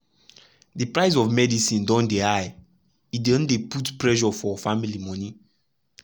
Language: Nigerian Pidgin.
the price of medicine don dey high e don dey put pressure for family monie.